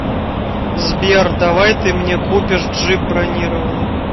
сбер давай ты мне купишь джип бронированный